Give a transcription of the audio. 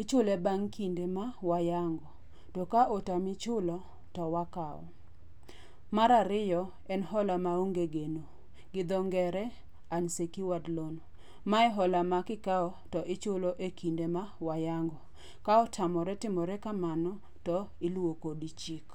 Ichule bang' kinde ma wayango. To ka otami chulo, to wakawo. Mar ariyo en hola maonge geno, gidho ngere unsecured loan. Mae hola makikawo to ichulo ekinde ma wayango. Ka otamore timore kamano, to iluwo kodi chik.